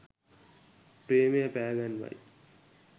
ප්‍රේමය පෑ ගන්වයි